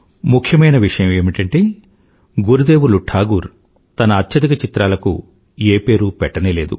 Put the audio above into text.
ముఖ్యమైన విషయం ఏమిటంటే గురుదేవులు టాగూర్ తన అత్యధిక చిత్రలకు ఏ పేరూ పెట్టనేలేదు